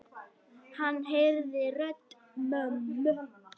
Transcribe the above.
Hann heyrði rödd mömmu.